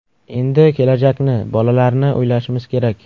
Endi kelajakni, bolalarni o‘ylashimiz kerak.